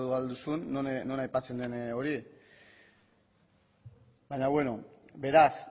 ahal duzun non aipatzen den hori baina bueno beraz